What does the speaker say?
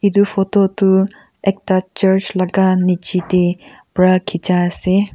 etu photo tu ekta church laga nicche teh pra khicha ase.